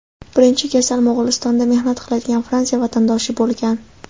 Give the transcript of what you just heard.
Birinchi kasal Mo‘g‘ulistonda mehnat qiladigan Fransiya vatandoshi bo‘lgan.